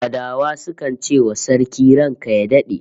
Fadawa sukan ce wa Sarki "ranka ya dade"